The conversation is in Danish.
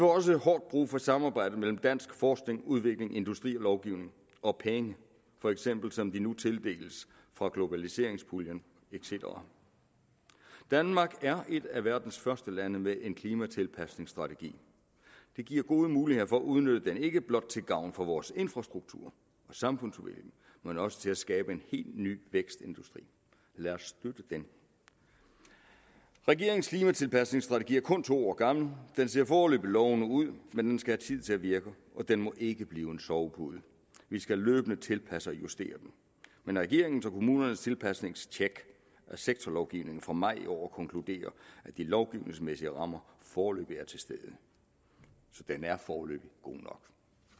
også hårdt brug for samarbejde mellem dansk forskning udvikling industri lovgivning og penge for eksempel som de nu tildeles fra globaliseringspuljen et cetera danmark er et af verdens første lande med en klimatilpasningsstrategi det giver gode muligheder for at udnytte den ikke blot til gavn for vores infrastruktur og samfundsudvikling men også til at skabe en helt ny vækstindustri lad os støtte den regeringens klimatilpasningsstrategi er kun to år gammel den ser foreløbig lovende ud men den skal have tid til at virke og den må ikke blive en sovepude vi skal løbende tilpasse og justere den men regeringens og kommunernes tilpasningstjek af sektorlovgivningen fra maj i år konkluderer at de lovgivningsmæssige rammer foreløbig er til stede så den er foreløbig god nok